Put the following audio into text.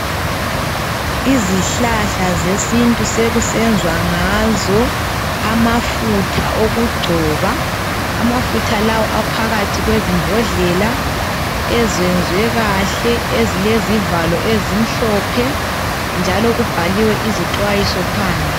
Izihlahla zesintu sekusenzwa ngazo amafutha okugcoba .Amafutha lawa aphakathi kwezimbodlela ezenzwe kahle ezilezivalo ezimhlophe ,njalo kubhaliwe izixwayiso phandle.